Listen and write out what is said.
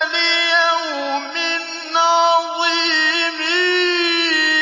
لِيَوْمٍ عَظِيمٍ